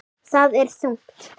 Það er þungt.